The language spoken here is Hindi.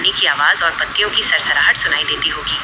पानी की आवाज और पत्तियों की सरसराहट सुनाई देती होगी।